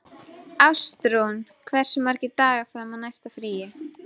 Ástrún, hversu margir dagar fram að næsta fríi?